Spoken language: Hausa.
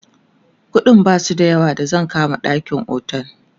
ƙuɗin Basu da yawa da zan kama ɗakin otel